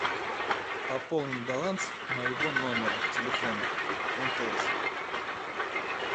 пополни баланс моего номера телефона мтс